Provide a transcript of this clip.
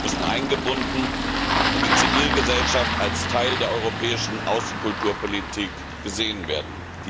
müssen eingebunden und die Zivilgesellschaft muss als Teil der europäischen Außenkulturpolitik gesehen werden.